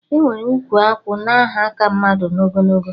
Enwere ụkwụ akwụ na aha ka mmadụ na ogologo